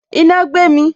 Iná gbé mi